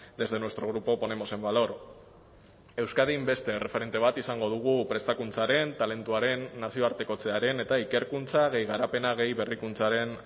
desde nuestro grupo ponemos en valor euskadin beste erreferente bat izango dugu prestakuntzaren talentuaren nazioartekotzearen eta ikerkuntza gehi garapena gehi berrikuntzaren